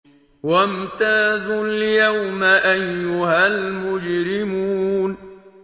وَامْتَازُوا الْيَوْمَ أَيُّهَا الْمُجْرِمُونَ